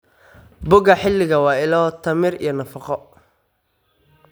Boga xilliga waa ilo tamar iyo nafaqo.